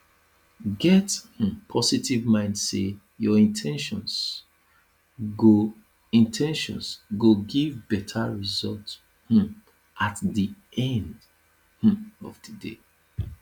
get um positive mind sey your in ten tions go in ten tions go give better result um at di end um of di day